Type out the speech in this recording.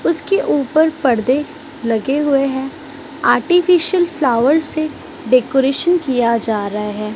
उसके ऊपर पर्दे लगे हुए हैं। आर्टिफिशियल फ्लावर से डेकोरेशन किया जा रहा है।